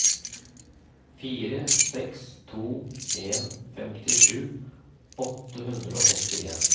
fire seks to en femtisju åtte hundre og åttien